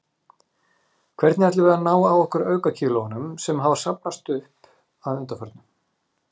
Hvernig ætlum við að ná af okkur aukakílóunum, sem hafa safnast upp að undanförnu?